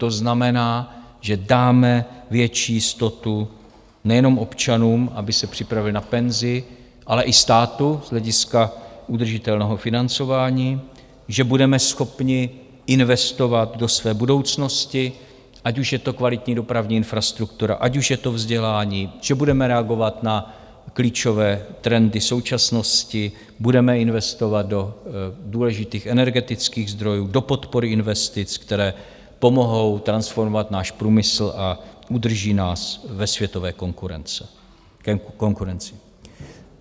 To znamená, že dáme větší jistotu nejenom občanům, aby se připravili na penzi, ale i státu z hlediska udržitelného financování; že budeme schopni investovat do své budoucnosti, ať už je to kvalitní dopravní infrastruktura, ať už je to vzdělání; že budeme reagovat na klíčové trendy současnosti, budeme investovat do důležitých energetických zdrojů, do podpory investic, které pomohou transformovat náš průmysl a udrží nás ve světové konkurenci.